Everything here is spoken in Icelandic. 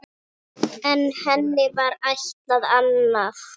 En henni var ætlað annað.